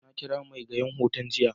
nakira megyaran wutan jiya.